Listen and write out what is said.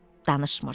Danışmırdı.